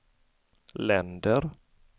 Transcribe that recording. länder